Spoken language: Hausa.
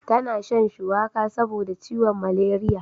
Ta na shan shuwaka saboda ciwon maleriya